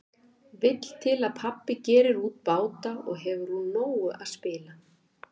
Vill til að pabbi gerir út báta og hefur úr nógu að spila.